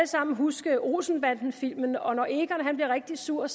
sammen huske olsenbandenfilmene og når egon bliver rigtig sur